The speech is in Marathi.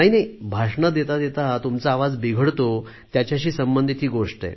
भाषणे देता देता तुमचा आवाज बिघडतो त्याच्याशी संबंधित ही गोष्ट आहे